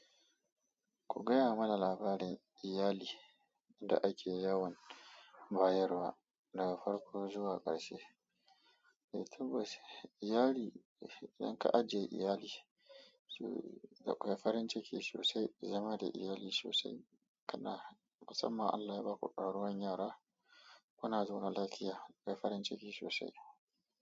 Ku gaya mana labarin iyali da ake yawan bayarwa baga farko zuwa karshe eh tabbas iyali idan ka ajiye iyali so dakwai farinciki sosai zama da iyali sosai musamman Allah ya baku rakuwan yara kuna zaune lafiya akwai farinciki sosai.